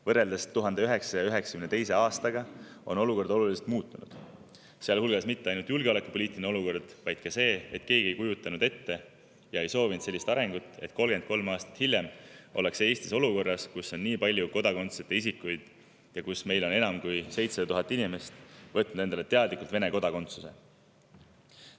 Võrreldes 1992. aastaga on olukord oluliselt muutunud, ja mitte ainult julgeolekupoliitiline olukord, vaid oluline on ka see, et keegi ei kujutanud ette ega soovinud sellist arengut, et 33 aastat hiljem ollakse Eestis olukorras, kus on nii palju kodakondsuseta isikuid ja enam kui 7000 inimest on võtnud endale teadlikult Vene kodakondsuse.